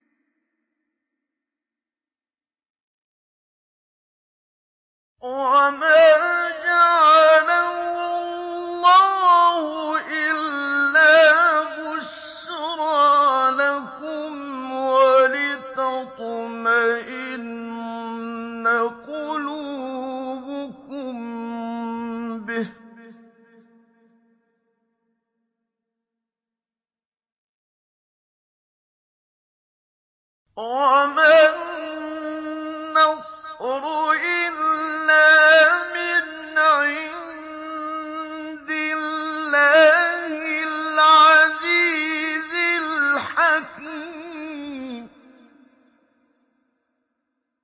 وَمَا جَعَلَهُ اللَّهُ إِلَّا بُشْرَىٰ لَكُمْ وَلِتَطْمَئِنَّ قُلُوبُكُم بِهِ ۗ وَمَا النَّصْرُ إِلَّا مِنْ عِندِ اللَّهِ الْعَزِيزِ الْحَكِيمِ